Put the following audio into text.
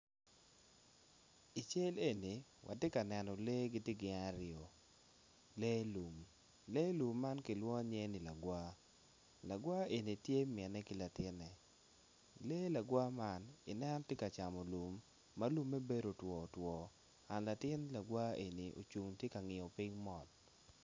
I cal eni atye ka neno lee gitye gin aryo lee lum lee lum man kilwongo nyinge ki lagwa, lagwa eni tye mine ki latine lee lagwa man ineno tye ka camo lum ma lume bedo otwo otwo dok latin kagwa eni ocung tye ka ngiyo piny mot